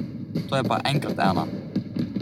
To je pa enkrat ena.